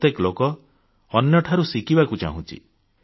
ପ୍ରତ୍ୟେକ ଲୋକ ଅନ୍ୟଠାରୁ ଶିଖିବାକୁ ଚାହୁଁଛି